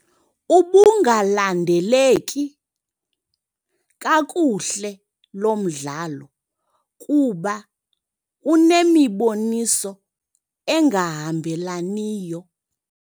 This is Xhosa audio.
Ubungalandeleki kakuhle lo mdlalo kuba unemiboniso engahambelaniyo.